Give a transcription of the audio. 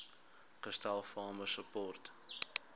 gestel farmer support